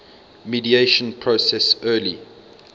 mediation process early